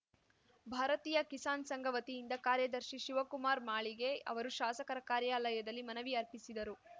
ಭಾರತೀಯ ಕಿಸಾನ್‌ ಸಂಘ ವತಿಯಿಂದ ಕಾರ್ಯದರ್ಶಿ ಶಿವಕುಮಾರ್‌ ಮಾಳಿಗೆ ಅವರು ಶಾಸಕರ ಕಾರ್ಯಾಲಯದಲ್ಲಿ ಮನವಿ ಅರ್ಪಿಸಿದರು